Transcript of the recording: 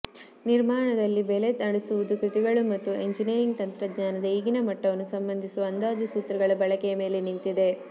ನಿರ್ಮಾಣದಲ್ಲಿ ಬೆಲೆ ನಡೆಸುವುದು ಕೃತಿಗಳು ಮತ್ತು ಎಂಜಿನಿಯರಿಂಗ್ ತಂತ್ರಜ್ಞಾನದ ಈಗಿನ ಮಟ್ಟವನ್ನು ಸಂಬಂಧಿಸುವ ಅಂದಾಜು ಸೂತ್ರಗಳ ಬಳಕೆಯ ಮೇಲೆ ನಿಂತಿದೆ